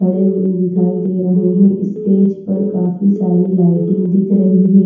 खड़े हुए दिखाई दे रहे हैं स्टेज पर काफी सारी लाइटिंग दिख रही है।